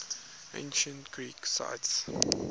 ancient greek sites